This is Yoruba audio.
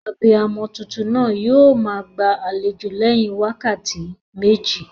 Abiyamo tuntun naa yio maa gbàlejò léyin wákàtí méjì